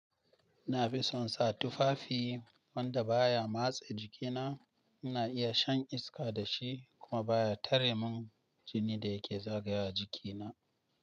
Ina fi son sa tufafi wanda baya matse jikina. Ina iya shan iska da shi kuma baya tare min jini da yake zagaya wa jikina.